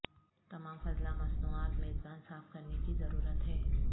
تمام فضلہ مصنوعات میزبان صاف کرنے کی ضرورت ہے